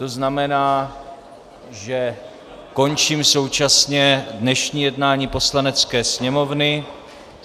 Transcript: To znamená, že končím současně dnešní jednání Poslanecké sněmovny.